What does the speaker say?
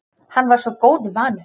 Hann var svo góðu vanur.